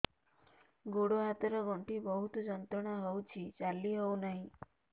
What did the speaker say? ଗୋଡ଼ ହାତ ର ଗଣ୍ଠି ବହୁତ ଯନ୍ତ୍ରଣା ହଉଛି ଚାଲି ହଉନାହିଁ